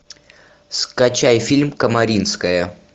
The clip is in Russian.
скачай фильм камаринская